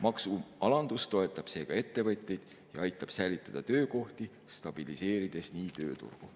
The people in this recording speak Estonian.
Maksualandus toetab ettevõtteid ja aitab säilitada töökohti, stabiliseerides nii tööturgu.